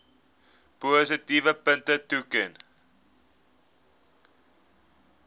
positiewe punte toeken